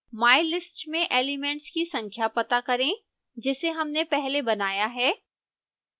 mylist में elements की संख्या पता करें जिसे हमने पहले बनाया है